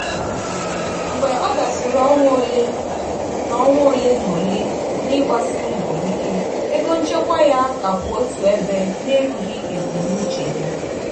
mgbe ọ gasịrị ọnwa ole na ọnwa ole na ole n'ịgbasi mbọ ike ego nchekwa ya ka kwụ otu ebe na-erughi ebumnuche ya.